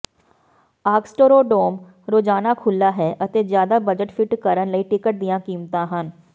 ਆਗਸਟਰੋਡੋਮ ਰੋਜ਼ਾਨਾ ਖੁੱਲ੍ਹਾ ਹੈ ਅਤੇ ਜ਼ਿਆਦਾ ਬਜਟ ਫਿੱਟ ਕਰਨ ਲਈ ਟਿਕਟ ਦੀਆਂ ਕੀਮਤਾਂ ਹਨ